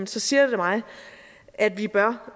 så siger det mig at vi bør